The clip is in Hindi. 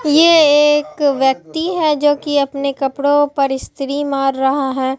ये एक व्यक्ति है जो कि अपने कपड़ों पर स्त्री मार रहा है।